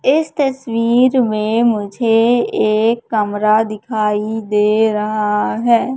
इस तसवीर में मुझे एक कमरा दिखाई दे रहा है।